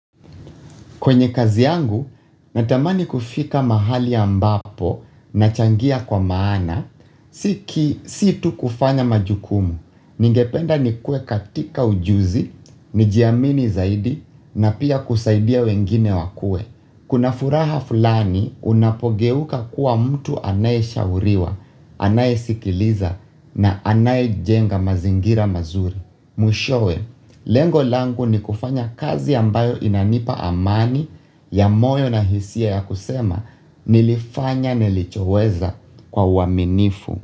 Kwenye kazi yangu, natamani kufika mahali ambapo nachangia kwa maana. Si ki si tu kufanya majukumu. Ningependa nikue katika ujuzi, nijiamini zaidi na pia kusaidia wengine wakue. Kuna furaha fulani unapogeuka kuwa mtu anayeshauriwa, anayesikiliza na anayejenga mazingira mazuri. Mwishowe, lengo langu ni kufanya kazi ambayo inanipa amani ya moyo na hisia ya kusema nilifanya nilichoweza kwa uaminifu.